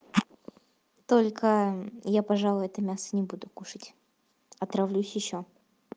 только я пожалуй это мясо не буду кушать отравлюсь ещё